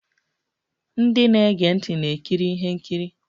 Ndị na-ege ntị na-ekiri ihe nkiri.